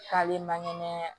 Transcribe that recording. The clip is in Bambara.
K'ale makɛnɛ